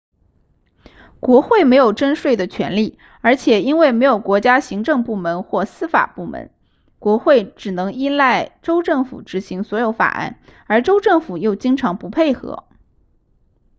国会没有征税的权力而且因为没有国家行政部门或司法部门国会只能依赖州政府执行所有法案而州政府又经常不配合